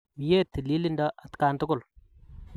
Mye tililindo atkan tukul